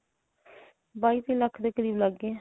ਬਾਈ ਤੇਈ ਲੱਖ ਦੇ ਕਰੀਬ ਲੱਗ ਗਿਆ